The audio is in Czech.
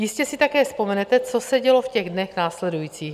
Jistě si také vzpomenete, co se dělo v těch dnech následujících.